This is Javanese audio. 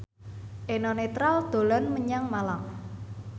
Eno Netral dolan menyang Malang